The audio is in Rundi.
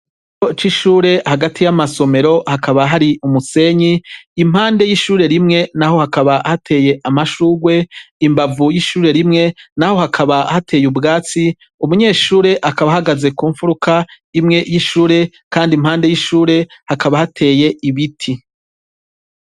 Ikigo c'ishure hagati y'amasomero hakaba hari umusenyi, impande y'ishure rimwe naho hakaba hateye amashurwe imbavu y'ishure rimwe naho hakaba hateye ubwatsi; umunyeshure akaba ahagaze ku mfuruka imwe y'ishure kandi impande y'ishure hakaba hateye ibiti.